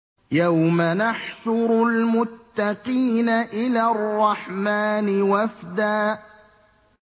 يَوْمَ نَحْشُرُ الْمُتَّقِينَ إِلَى الرَّحْمَٰنِ وَفْدًا